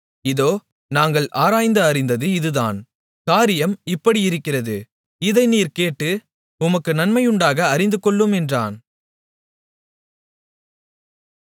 இதோ நாங்கள் ஆராய்ந்து அறிந்தது இதுதான் காரியம் இப்படியிருக்கிறது இதை நீர் கேட்டு உமக்கு நன்மையுண்டாக அறிந்துகொள்ளும் என்றான்